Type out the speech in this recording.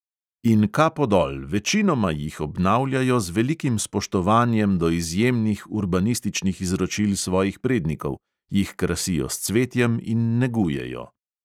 In kapo dol, večinoma jih obnavljajo z velikim spoštovanjem do izjemnih urbanističnih izročil svojih prednikov, jih krasijo s cvetjem in negujejo.